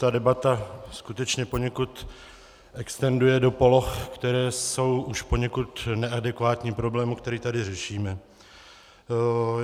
Ta debata skutečně poněkud extenduje do poloh, které jsou už poněkud neadekvátní problému, který tady řešíme.